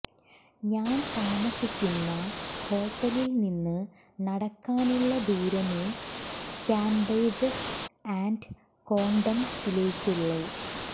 ഞാൻ താമസിക്കുന്ന ഹോട്ടലിൽ നിന്ന് നടക്കാനുള്ള ദൂരമേ കാബേജസ് ആന്റ് കോണ്ടംസിലേക്കുള്ളു